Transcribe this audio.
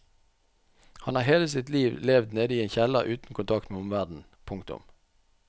Han har hele sitt liv levd nede i en kjeller uten kontakt med omverdenen. punktum